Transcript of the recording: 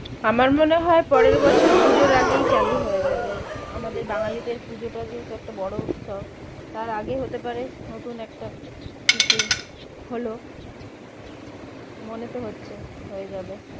আমার মনেহয় পরের বছর পুজোর আগেই চালু হয়ে যাবে আমাদের বাঙালিদের পুজোটা যেহেতু একটা বড়ো উৎসব তার আগে হতে পারে নতুন একটা কিছু হলো মনেতো হচ্ছে হয়ে যাবে